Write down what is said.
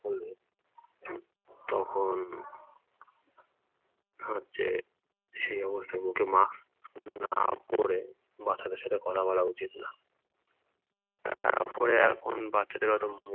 হলে তখন হচ্ছে সেই মুহূর্তে মুখে mask না পরে বাচ্চাদের সাথে কথা বলা উচিত না। তারপরে এখন বাচ্চাদের এত